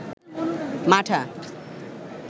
মাঠা